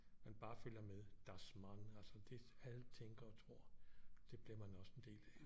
Man bare følger med das man altså det alle tænker og tror det bliver man også en del af